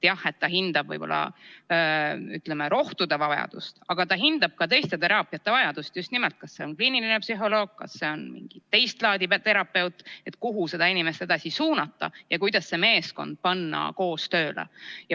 Jah, ta hindab rohtude vajadust, aga ta hindab ka teiste teraapiate vajadust – kas vaja on kliinilist psühholoogi või mingit teist laadi terapeuti, kelle juurde noor inimene edasi suunata – ja seda, kuidas panna see meeskond koos tööle.